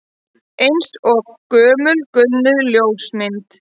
Eins og gömul gulnuð ljósmynd